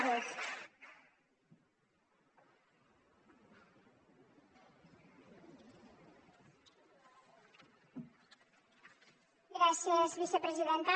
gràcies vicepresidenta